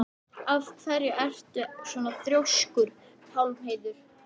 Af hverju ertu svona þrjóskur, Pálheiður?